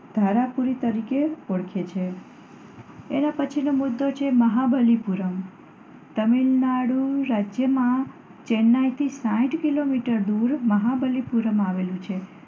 ધારાપુરી તરીકે ઓળખે છે. એના પછી નો મુદ્દો છે તમિલનાડુ રાજ્યના ચેન્નાઈથી સાહીઠ કિલોમીટર દૂર મહાબલીપુરમ આવેલું છે.